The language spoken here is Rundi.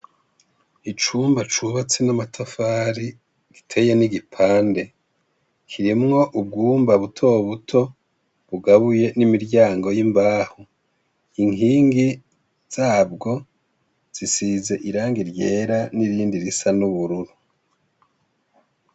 Icumba cubatse n' amatafari giteye n'igipande, kirimw' ubwumba butobuto bugabuye n' imiryango y' imbaho, inkingi zabwo zisiz'irangi ryera n'irindi risa n' ubururu.